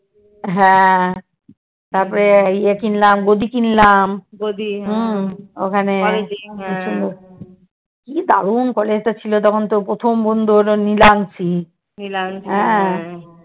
হ্যাঁ তারপরে ইয়ে কিনলাম গদি কিনলাম ওখানে কি দারুন college টা ছিল তখন তোর প্রথম বন্ধু হলো নিলামশি। হ্যাঁ